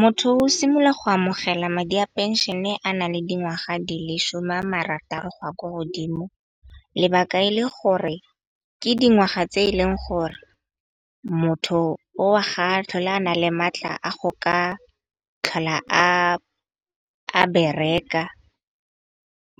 Motho o simolola go amogela madi a phenšene a na le dingwaga di le shome a marataro go ya kwa godimo. Lebaka e le gore ke dingwaga tse e leng gore motho o ga tlhole a na le maatla a go ka tlhola a bereka,